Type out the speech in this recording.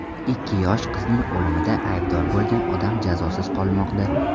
Ikki yosh qizning o‘limida aybdor bo‘lgan odam jazosiz qolmoqda.